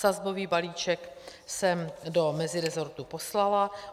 Sazbový balíček jsem do meziresortu poslala.